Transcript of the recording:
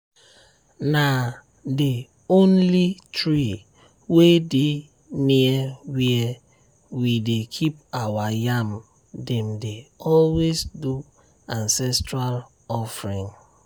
na the holy tree wey dey near where we dey keep our yam dem dey always do ancestral offering.